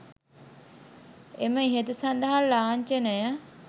එම ඉහත සඳහන් ලාංචනය